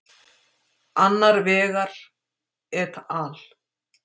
Annar vegar er et al.